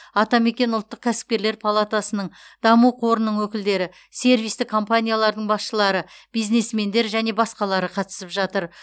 атамекен ұлттық кәсіпкерлер палатасының даму қорының өкілдері сервистік компаниялардың басшылары бизнесмендер және басқалары қатысып жатыр